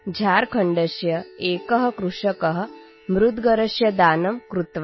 झारखण्डस्य एकः कृषकः मुद्गरस्य दानं कृतवान्